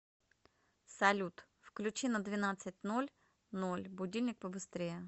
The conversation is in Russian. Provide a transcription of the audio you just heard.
салют включи на двенадцать ноль ноль будильник побыстрее